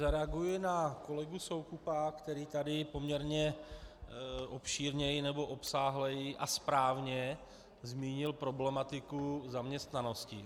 Zareaguji na kolegu Soukupa, který tady poměrně obšírněji nebo obsáhleji a správně zmínil problematiku zaměstnanosti.